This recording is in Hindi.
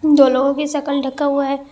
दो लोगों के शकल ढका हुआ है।